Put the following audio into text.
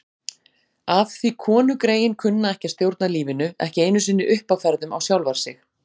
Af því konugreyin kunna ekki að stjórna lífinu, ekki einu sinni uppáferðum á sjálfar sig.